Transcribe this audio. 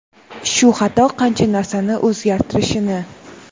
shu xato qancha narsani o‘zgartirishini.